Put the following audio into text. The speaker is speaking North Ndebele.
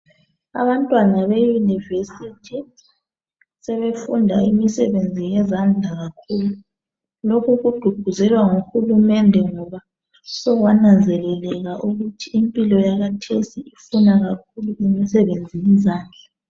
abantwana be university sebefunda imisebenzi yezandla kakhulu lokhu kugqugquzelwa nguhulumende ngoba sokwananzeleleka ukuthi impilo yakhathesi ifuna kakhulu imisebenzi yezandla